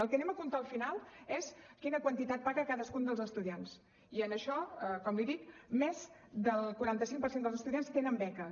el que anem a comptar al final és quina quantitat paga cadascun dels estudiants i en això com li dic més del quaranta cinc per cent dels estudiants tenen beques